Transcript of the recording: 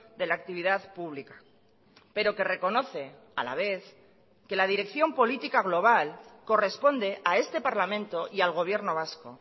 de la actividad pública pero que reconoce a la vez que la dirección política global corresponde a este parlamento y al gobierno vasco